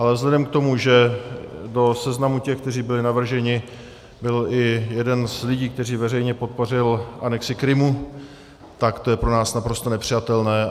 Ale vzhledem k tomu, že do seznamu těch, kteří byli navrženi, byl i jeden z lidí, kteří veřejně podpořili anexi Krymu, tak to je pro nás naprosto nepřijatelné.